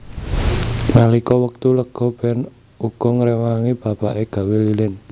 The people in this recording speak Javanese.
Nalika wektu lega Ben uga ngrewangi bapake gawé lilin